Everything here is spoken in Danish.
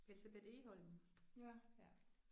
Elsebeth Egholm ja